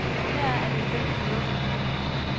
Heraf er de femten lukket.